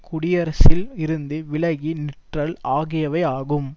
குடியரசில் இருந்து விலகி நிற்றல் ஆகியவை ஆகும்